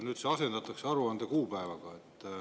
Nüüd see asendatakse aruande kuupäevaga.